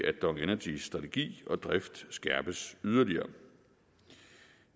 at dong energys strategi og drift skærpes yderligere